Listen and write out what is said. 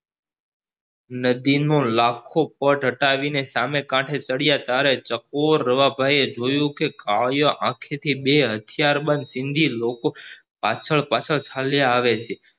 નદીનો લખો પટ હટાવી ને સામે કાંઠે ચડ્યા ત્યારે ચકોર રવા ભાઈએ જોયું કે કાલીયા આંખેથી બે હતિયાર બંદ સિંધી લોકો પાસળ પાસાળ ચાલ્યા આવે છે